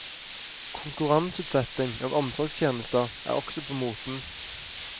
Konkurranseutsetting av omsorgstjenester er også på moten.